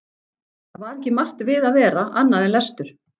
Það var ekki margt við að vera annað en lestur.